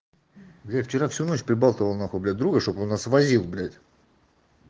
я вчера всю ночь прибалты волнах убить друга чтобы он нас возил блять